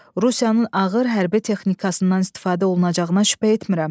Rusiyanın ağır hərbi texnikasından istifadə olunacağına şübhə etmirəm.